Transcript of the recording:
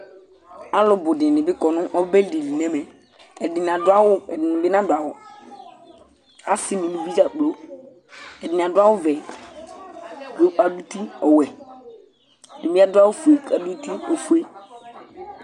Alu bʋ dìní bi kɔ nʋ ɔbɛ di li nʋ ɛmɛ Ɛdiní adu awu Ɛdiní bi nadu awu Asi nʋ ʋlʋvi dza kplo Ɛdiní adu awu ɔvɛ kʋ adu ʋti ɔwɛ Ɛdiní adu awu fʋe kʋ adu ʋti ɔfʋe